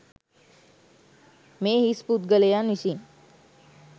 මේ හිස් පුද්ගලයන් විසින්